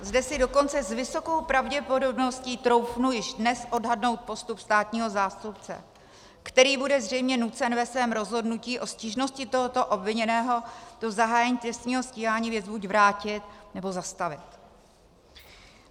Zde si dokonce s vysokou pravděpodobností troufnu již dnes odhadnout postup státního zástupce, který bude zřejmě nucen ve svém rozhodnutí o stížnosti tohoto obviněného do zahájení trestního stíhání věc buď vrátit, nebo zastavit.